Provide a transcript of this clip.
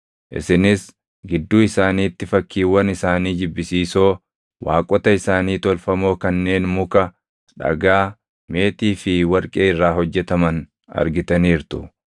Isinis gidduu isaaniitti fakkiiwwan isaanii jibbisiisoo, waaqota isaanii tolfamoo kanneen muka, dhagaa, meetii fi warqee irraa hojjetaman argitaniirtu.